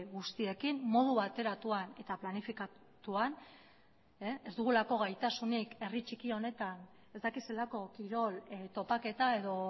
guztiekin modu bateratuan eta planifikatuan ez dugulako gaitasunik herri txiki honetan ez dakit zelako kirol topaketa edo